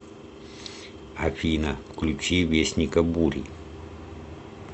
афина включи вестника бури